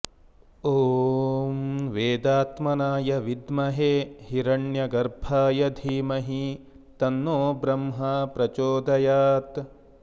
ॐ वेदात्मनाय विद्महे हिरण्यगर्भाय धीमहि तन्नो ब्रह्मा प्रचोदयात्